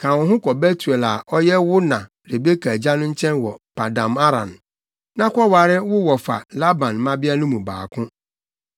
Ka wo ho kɔ Betuel a ɔyɛ wo na Rebeka agya no nkyɛn wɔ Paddan-Aram, na kɔware wo wɔfa Laban mmabea no mu baako.